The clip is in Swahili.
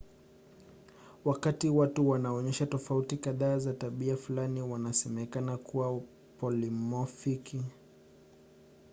wakati watu wanaonyesha tofauti kadhaa za tabia fulani wanasemekana kuwa polimofiki